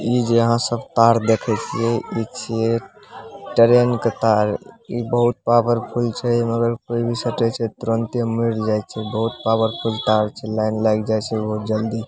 इ जहाँ सब तार देखे छिये इ छिये ट्रैन के तार इ बहुत पावरफुल छै एमें अगर कोई भी सटे छै तुरंते मर जाए छै बहुत पावरफुल तार छै लाइन लाग जाय छै बहुत जल्दी --